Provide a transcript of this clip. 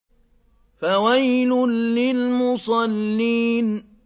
فَوَيْلٌ لِّلْمُصَلِّينَ